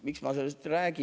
Miks ma sellest räägin?